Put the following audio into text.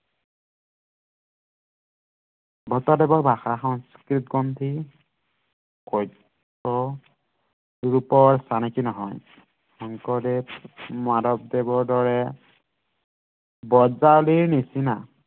ভট্টদেৱৰ ভাষা সংস্কৃতগ্ৰন্থী কব্য ৰূপৰ চানেকী নহয় শংকৰদেৱ মাধৱদেৱৰ দৰে ব্ৰজাৱলীৰ নিচিনা